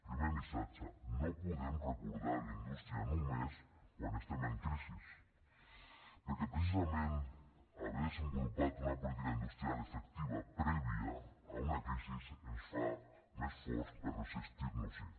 primer missatge no podem recordar la indústria només quan estem en crisi perquè precisament haver desenvolupat una política industrial efectiva prèvia a una crisi ens fa més forts per resistir nos hi